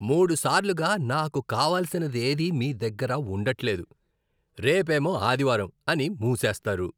మూడు సార్లుగా నాకు కావలసినదేదీ మీ దగ్గర ఉండట్లేదు, రేపేమో ఆదివారం అని మూసేస్తారు.